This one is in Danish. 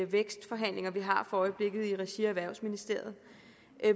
vækstforhandlinger vi har for øjeblikket i regi af erhvervsministeriet